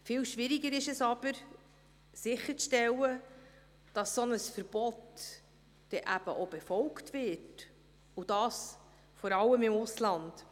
Viel schwieriger ist es aber sicherzustellen, dass ein solches Verbot eben auch befolgt wird, besonders im Ausland.